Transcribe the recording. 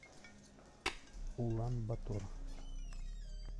улан батор